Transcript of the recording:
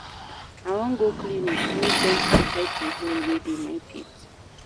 I wan go clinic make dentist check di hole wey dey my teeth.